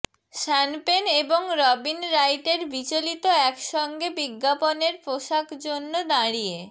শ্যান Penn এবং Robin রাইটের বিচলিত একসঙ্গে বিজ্ঞাপনের পোশাক জন্য দাঁড়িয়ে